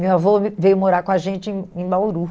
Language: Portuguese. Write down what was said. Minha avô veio morar com a gente em em Bauru.